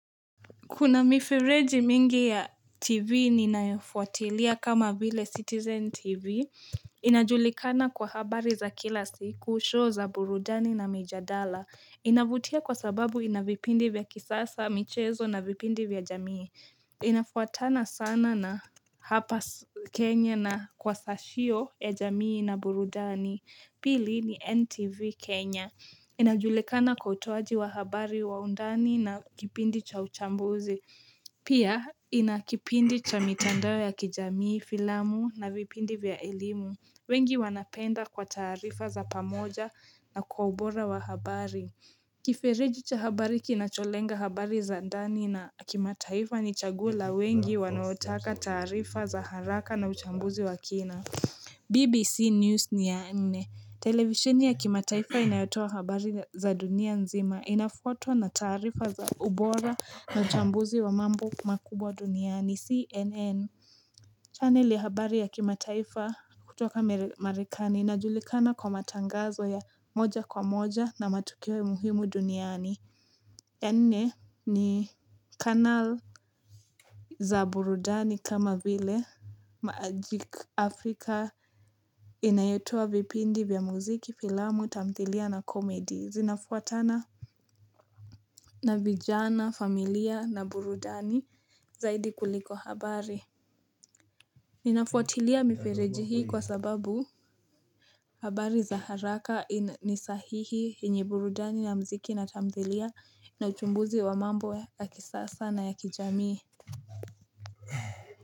Kuna mifereji mingi ya TV ninayofuatilia kama vile Citizen TV. Inajulikana kwa habari za kila siku, show za burudani na mijadala. Inavutia kwa sababu inavipindi vya kisasa, michezo na vipindi vya jamii. Inafuatana sana na hapa Kenya na kwa sashio ya jamii na burudani. Pili ni NTV Kenya. Inajulekana kwa utoaji wa habari wa undani na kipindi cha uchambuzi, Pia ina kipindi cha mitandao ya kijamii, filamu na vipindi vya elimu wengi wanapenda kwa tarifa za pamoja na kwa ubora wa habari Kifereji cha habari kinacholenga habari za ndani na kimataifa ni chaguo la wengi wanaotaka taarifa za haraka na uchambuzi wa kina BBC News ni ya nne Televishini ya kimataifa inayotua habari za dunia nzima inafuatwa na tarifa za ubora na uchambuzi wa mambo makubwa duniani. CNN channel ya habari ya kimataifa kutoka Marekani inajulikana kwa matangazo ya moja kwa moja na matukio muhimu duniani. Ya nne ni kanal za burudani kama vile maajik Afrika inayotoa vipindi vya muziki, filamu, tamthilia na komedi. Zinafuatana na vijana, familia na burudani zaidi kuliko habari. Ninafuatilia mifereji hii kwa sababu habari za haraka ni sahihi yenye burudani na muziki na tamthilia na uchumbuzi wa mambo ya kisasa na ya kijamii.